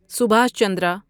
سبھاش چندرا